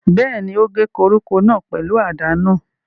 Bẹ́ẹ̀ni, ó ń gé koríko náà pẹ̀lú àdá náà